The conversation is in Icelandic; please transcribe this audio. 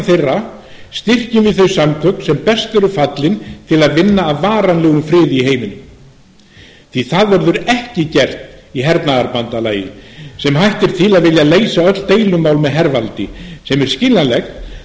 þeirra styrkjum við þau samtök sem best eru fallin til að vinna að varanlegum friði í heiminum því að það verður ekki gert í hernaðarbandalagi sem hættir til að vilja leysa öll deilumál með hervaldi sem er skiljanlegt